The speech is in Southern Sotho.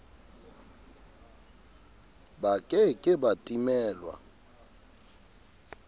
ba ke ke ba timelwa